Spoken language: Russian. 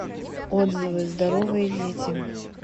отзывы здоровые дети